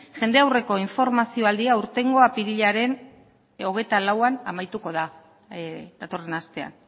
jende aurreko informazio aldia hurrengo apirilaren hogeita lauan amaituko da datorren astean